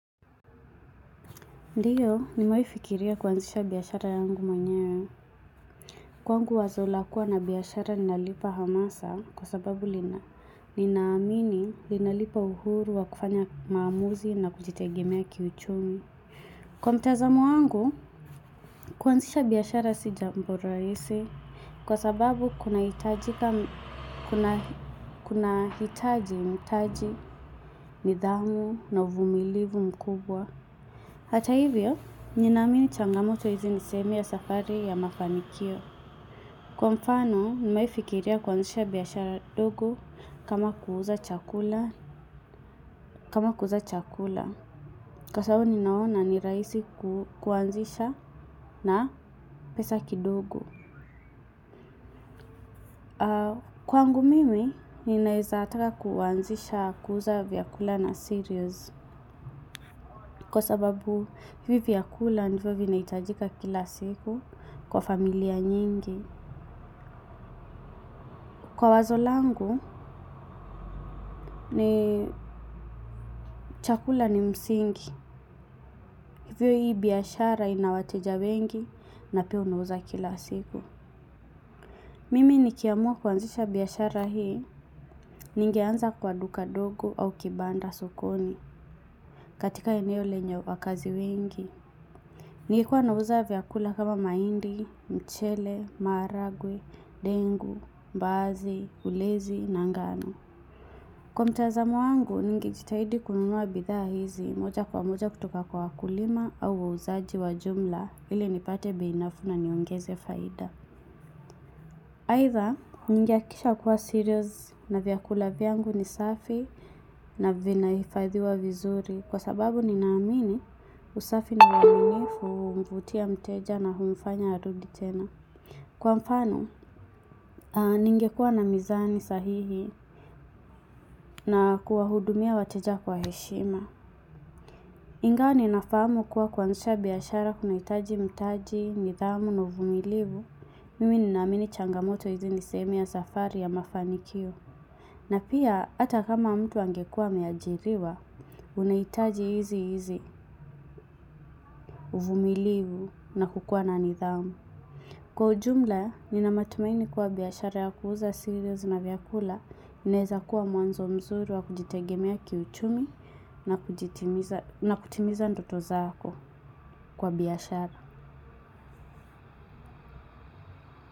Ndiyo, nimewai fikiria kuanzisha biashara yangu mwenyewe. Kwangu wazo la kuwa na biashara ninalipa hamasa kwa sababu linaamini linalipa uhuru wa kufanya maamuzi na kujitegemea kiuchumi. Kwa mtazamo wangu. Kuanzisha biashara sijambo rahisi, kwa sababu kuna hitaji mitaji, nidhamu na uvumilivu mkubwa. Hata hivyo, ninaamini changamoto hizi ni sehemu ya safari ya mafanikio. Kwa mfano, nimewaifikiria kuanzisha biashara dogo. Kama kuuza kama kuuza chakula. Kwa sababu ninaona ni rahisi kuanzisha. Na pesa kidogo. Kwangu mimi, ninaweza taka kuanzisha kuuza vyakula na cereals. Kwa sababu, hivi vyakula ndivyo vinaitajika kila siku. Kwa familia nyingi. Kwa wazo langu. Ni. Chakula ni msingi, hivyo hii biashara ina wateja wengi na pia unauza kila siku. Mimi nikiamua kuanzisha biashara hii. Nigeanza kwa duka dogo au kibanda sokoni. Katika lenye wakaazi wengi. Ningekua nauza vyakula kama mahindi, mchele, maharagwe, dengu, mbaazi, ulezi na ngano. Kwa mtazamo wangu, ningejitahidi kununua bidhaa hizi, moja kwa moja kutoka kwa wakulima au wauzaji wa jumla ili nipate bei nafuu na niongeze faida. Aidha, ningehakisha kuwa cereals na vyakula vyangu ni safi, na vina hifadhiwa vizuri. Kwa sababu nina amini usafi na uaminifu humvutia mteja na humfanya arudi tena. Kwa mfano. Ningekua na mizani sahihi. Na kuwa hudumia wateja kwa heshima. Ingawa ninafahamu kuwa kuanzisha biashara kuna hitaji mtaji, nidhamu na uvumilivu. Mimi ninaamini changamoto hizi ni sehemu ya safari ya mafanikio. Na pia, h ata kama mtu angekua ameajiriwa, unaitaji hizi hizi. Uvumilivu na kukua na nidhamu. Kwa ujumla, nina matumaini kuwa biashara ya kuuza cereals na vyakula, inaweza kuwa mwanzo mzuri wa kujitegemea kiuchumi, na kutimiza ndoto zako, kwa biashara.